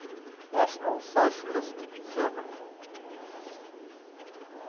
national socialist german